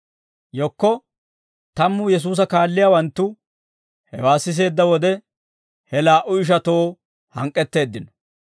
Yekko tammu Yesuusa kaalliyaawanttu hewaa siseedda wode, he laa"u ishatoo hank'k'etteeddino.